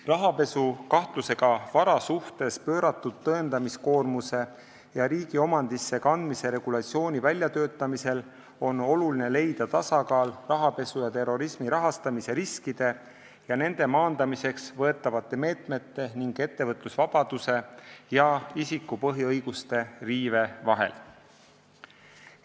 Rahapesukahtlusega vara suhtes pööratud tõendamiskoormuse ja riigi omandisse kandmise regulatsiooni väljatöötamisel on oluline leida tasakaal rahapesu ja terrorismi rahastamise riskide ja nende maandamiseks võetavate meetmete ning ettevõtlusvabaduse ja isiku põhiõiguste riive vahel.